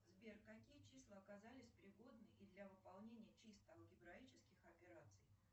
сбер какие числа оказались пригодны и для выполнения чисто алгебраических операций